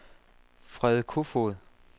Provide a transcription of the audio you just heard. Frede Koefoed